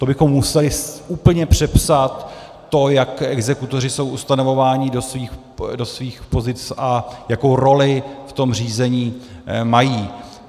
To bychom museli úplně přepsat to, jak exekutoři jsou ustanovováni do svých pozic a jakou roli v tom řízení mají.